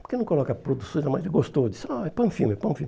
Porque não coloca a produção, mas ele gostou.